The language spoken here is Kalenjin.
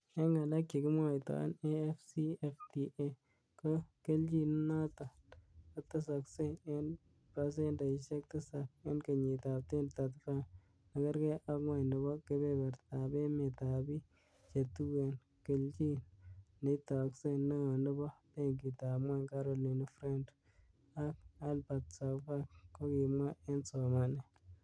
'En ngalek che kimwoitoen AfCFTA, ko kelchin nenoton kotesokse en pasendeisiek tisap en kenyitab 2035,nekergei ak ngwony nebo kebebertab emet ab bik che tuen-kelchin neitokse,''Neo nebo benkitab ngwony Caroline Freund ak Albert Zaufack kokimwa en somanet.